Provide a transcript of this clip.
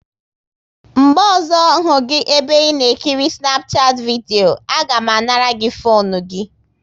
Mgbe ọzọ hụ gị ebe ị na ekiri Snapchat vidio, a ga m anara gị fone gị!